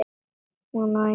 Hún á engan sinn líka.